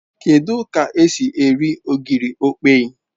Kedu k'esi eri ogiri okpei